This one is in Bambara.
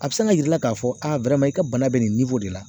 A bɛ se ka yir'i la k'a fɔ a i ka bana bɛ nin de la